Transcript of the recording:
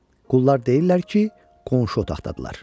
Qullar deyirlər ki, qonşu otaqdadırlar.